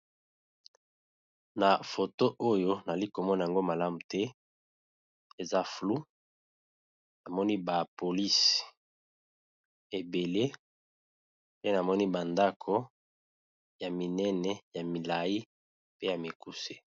Na foto oyo nali komona yango malamu te, eza floux, namoni ba polisi ebele pe namoni ba ndako ya minene ya milai pe ya mikuse.